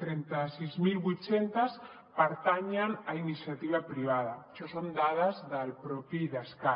trenta sis mil vuit cents pertanyen a iniciativa privada això són dades del propi idescat